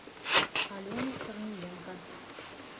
алену корниенко